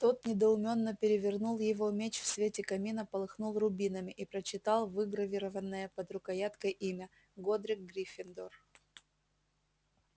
тот недоуменно перевернул его меч в свете камина полыхнул рубинами и прочитал выгравированное под рукояткой имя годрик гриффиндор